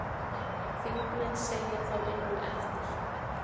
Þingmenn segja þá vinnu eftir.